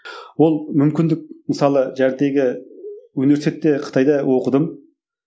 ол мүмкіндік мысалы университетте қытайда оқыдым